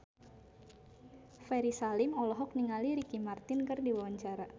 Ferry Salim olohok ningali Ricky Martin keur diwawancara